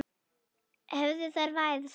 Hefðu þeir fæðst.